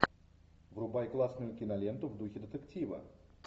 врубай классную киноленту в духе детектива